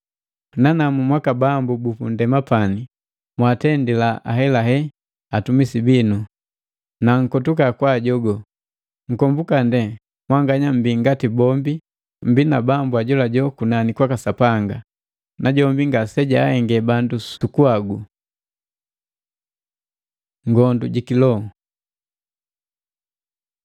Nanamu mwaka bambu bupundema pani, mwaatendila ahelahela atumisi binu, na nkotuka kwaajogo. Nkombuka ndee mwanganya mmbii ngati bombi mmbii na Bambu ajolajola kunani kwaka Sapanga, najombi ngasejahenge bandu suku bagu. Ngondu ji kiloho